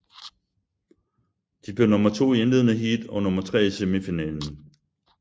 De blev nummer to i indledende heat og nummer tre i semifinalen